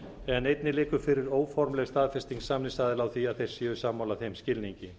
en einnig liggur fyrir óformleg staðfesting samningsaðila á því að þeir séu sammála þeim skilningi